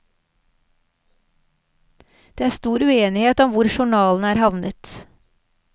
Det er stor uenighet om hvor journalene er havnet.